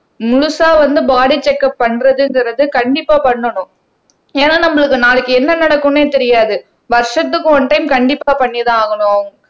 முழுசா வந்து body check up பண்றதுங்கிறது கண்டிப்பா பண்ணணும் ஏன்னா நம்மளுக்கு நாளைக்கு என்ன நடக்குன்னே தெரியாது வருஷத்துக்கு ஒன் டைம் கண்டிப்பா பண்ணிதான் ஆகணும்